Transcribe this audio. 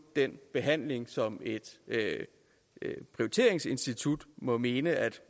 den behandling som et prioriteringsinstitut må mene